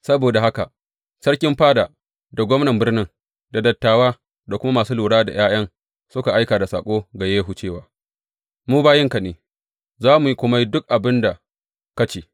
Saboda haka sarkin fada, da gwamnan birnin, da dattawa, da kuma masu lura da ’ya’yan suka aika da saƙo ga Yehu, cewa, Mu bayinka ne, za mu kuma yi duk abin da ka ce.